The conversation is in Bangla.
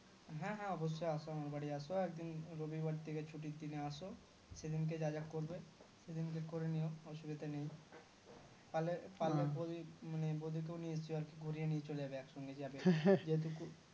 হ্যাঁ হ্যাঁ অবশ্যই আসো আমার বাড়ি আসো একদিন রবিবার দেখে ছুটির দিনে আসো সেদিনকে যা যা করবে সেদিনকে করে নিয়ো অসুবিধা নেই পারলে পারলে বৌদিকে মানে বৌদিকে নিয়ে গুড়িয়ে নিয়ে চলে যাবে এক সঙ্গে যাবে যেহেতু